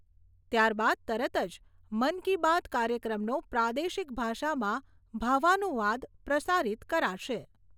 ત્યારબાદ તરત જ મન કી બાત કાર્યક્રમનો પ્રાદેશિક ભાષામાં ભાવાનુવાદ પ્રસારિત કરાશે.